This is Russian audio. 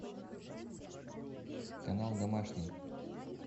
канал домашний